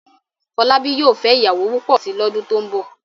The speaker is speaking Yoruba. Fọlábí yóò fẹ́ ìyàwó púpọ̀ si lọ́dún tó ń bọ̀.